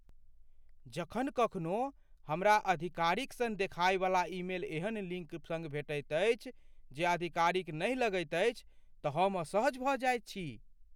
जखन कखनो हमरा आधिकारिक सन देखाइवला ईमेल एहन लिङ्क सङ्ग भेटैत अछि जे आधिकारिक नहि लगैत अछि तँ हम असहज भऽ जाइत छी।